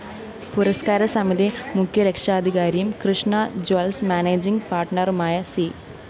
പുരസ്‌കാരസമിതി മുഖ്യരക്ഷാധികാരിയും Krishna jewels managing പാര്‍ട്ണറുമായ C